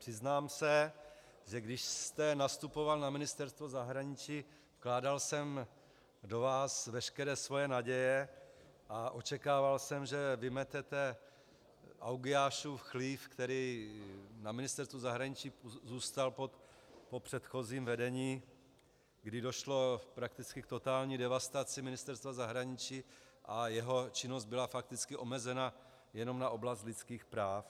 Přiznám se, že když jste nastupoval na Ministerstvo zahraničí, vkládal jsem do vás veškeré svoje naděje a očekával jsem, že vymetete Augiášův chlév, který na Ministerstvu zahraničí zůstal po předchozím vedení, kdy došlo prakticky k totální devastaci Ministerstva zahraničí a jeho činnost byla fakticky omezena jenom na oblast lidských práv.